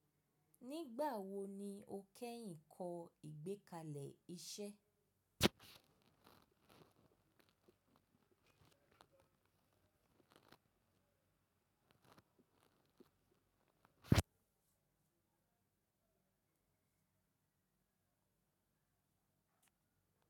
Nígbà wo ni o kẹ́yìn kọ́ ìgbékalẹ̀ iṣẹ́?